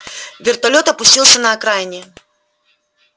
вертолёт опустился на окраине